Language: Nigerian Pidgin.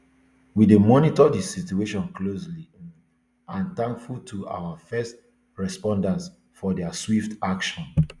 we dey monitor di situation closely um and thankful to our first responders for dia swift action